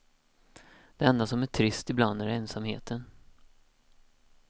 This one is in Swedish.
Det enda som är trist ibland är ensamheten.